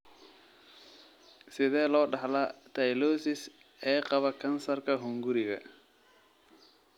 Sidee loo dhaxlaa Tylosis ee qaba kansarka hunguriga?